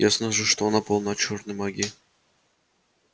ясно же что она полна чёрной магии